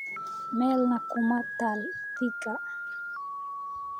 meelna kuma taal thika